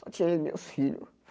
Só tinha eu e meus filhos.